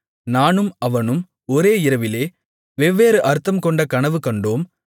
நானும் அவனும் ஒரே இரவிலே வெவ்வேறு அர்த்தம்கொண்ட கனவு கண்டோம்